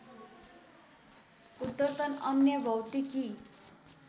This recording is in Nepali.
उद्धर्तन अन्य भौतिकी